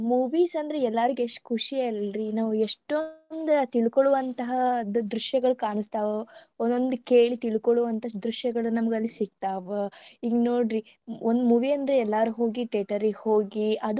Movies ಅಂದ್ರ ಎಲ್ಲರಿಗ ಎಸ್ಟ ಖುಷಿ ಅಲ್ರಿ ಎಷ್ಟೊಂದ ತಿಳ್ಕೊಳುವಂತಾದ ದೃಶ್ಯಗಳ ಕಾಣಸ್ತಾವ ಒಂದೊಂದ ಕೇಳಿ ತಿಳ್ಕೊಳುವಂತಾ ದೃಶ್ಯಗಳ ನಮಗ ಅಲ್ಲಿ ಸಿಗ್ತಾವ ಈಗ ನೋಡ್ರಿ ಒಂದ movie ಅಂದ್ರ ಎಲ್ಲಾರು ಹೋಗಿ theatre ಹೋಗಿ ಅದು ಒಂತರಾ.